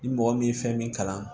Ni mɔgɔ min ye fɛn min kalan